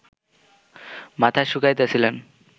মাথা শুকাইতেছিলেন